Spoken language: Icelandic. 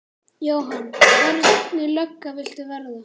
Jóhann: Hvernig lögga viltu verða?